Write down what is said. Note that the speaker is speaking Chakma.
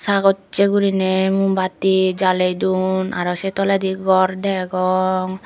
sagochi gurinei moombatti jaley duon aro se toledi ghor degong.